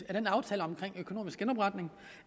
den aftale om økonomisk genopretning